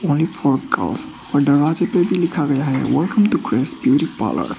Only फिर girls और दरवाजे पर भी लिखा गया है welcome to Grace beauty parlour.